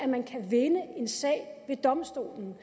man kan vinde en sag ved domstolen